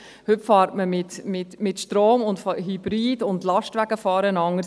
Heute fährt man mit Strom und Hybrid, und die Lastwagen fahren anders.